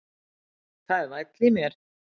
Það er væll í mér.